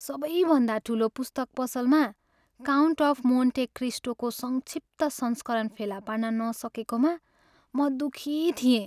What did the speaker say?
सबैभन्दा ठुलो पुस्तक पसलमा "काउन्ट अफ मोन्टे क्रिस्टो" को संक्षिप्त संस्करण फेला पार्न नसकेकोमा म दुखी थिएँ।